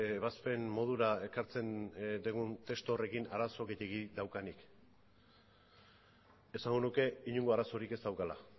ebazpen modura ekartzen dugun testu horrekin arazo gehiegi daukanik esango nuke inongo arazorik ez daukala